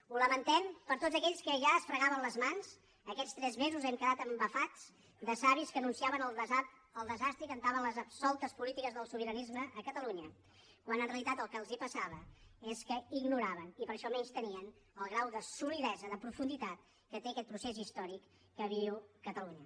ho lamentem per tots aquells que ja es fregaven les mans aquests tres mesos hem quedat embafats de savis que anunciaven el desastre i cantaven les absoltes polítiques del sobiranisme a catalunya quan en realitat el que els passava és que ignoraven i per això menystenien el grau de solidesa de profunditat que té aquest procés històric que viu catalunya